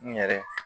N yɛrɛ